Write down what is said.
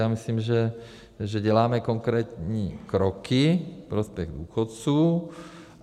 Já myslím, že děláme konkrétní kroky ve prospěch důchodců.